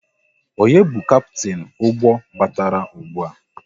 Onye bu Kaptin ụgbọ batara ụgbụa?